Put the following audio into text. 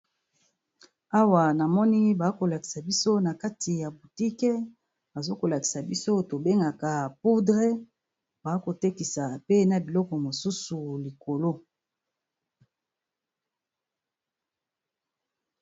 Awa na moni ba ko lakisa biso na kati ya boutique, bazo ko lakisa biso to bengaka poudre ba ko tekisa pe na biloko mosusu likolo.